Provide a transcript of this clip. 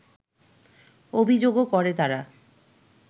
অভিযোগও করে তারা